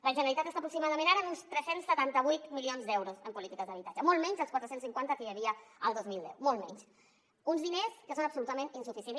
la generalitat està aproximadament ara en uns tres cents i setanta vuit milions d’euros en polítiques d’habitatge molt menys dels quatre cents i cinquanta que hi havia el dos mil deu molt menys uns diners que són absolutament insuficients